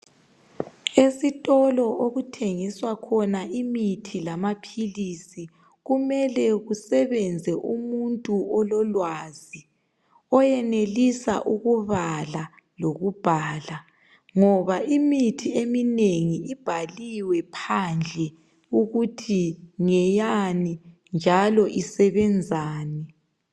Esitolo okuthengiswa khona imithi lamaphilisi kumele kusebenze umuntu ololwazi oyenelisa ukubala lokubhala ngoba imithi eminengi ibhaliwe phandle ukuthi ngeyani njalo isebenzani